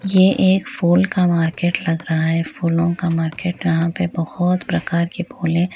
यह एक फूल का मार्केट लग रहा है फूलों का मार्केट यहाँ पर बोहोत प्रकार के फूल हैं।